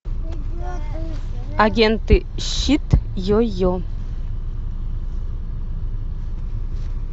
агенты щит йо йо